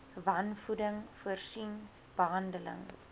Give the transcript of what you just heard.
wanvoeding voorsien behandeling